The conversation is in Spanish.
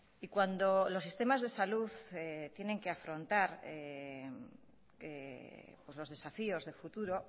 y cuando los sistemas de salud tienen que afrontar los desafíos de futuro